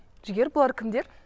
жігер бұлар кімдер